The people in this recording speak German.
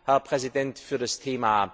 Ich kann, für das Thema